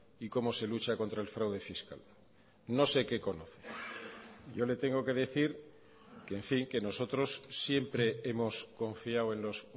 y cómo se lucha contra el fraude fiscal no sé qué conoce yo le tengo que decir que en fin que nosotros siempre hemos confiado en los